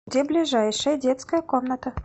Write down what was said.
где ближайшая детская комната